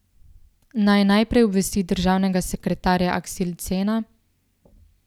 Naj najprej obvesti državnega sekretarja Askildsena?